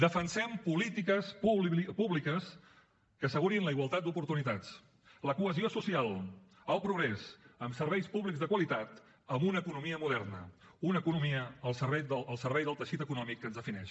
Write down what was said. defensem polítiques públiques que assegurin la igualtat d’oportunitats la cohesió social el progrés amb serveis públics de qualitat amb una economia moderna una economia al servei del teixit econòmic que ens defineix